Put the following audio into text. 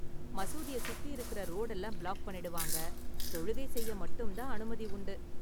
மசூதிய சுத்தி இருக்கற ரோடு எல்லாம் பிளாக் பண்ணிடுவாங்க, தொழுகை செய்ய மட்டும் தான் அனுமதி உண்டு.